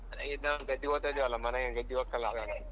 ಈಗ ನಾವ್ ಗದ್ದಿಗೆ ಹೋಗ್ತಿದೆವಲ್ಲ ಮನೆಗೆ ಗದ್ದಿಗೆ ಹೋಗ್ತಿಲ್ಲ ನಾವ್ ಏನ್?